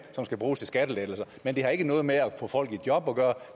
som skal bruges til skattelettelser men det har ikke noget at gøre med at få folk i job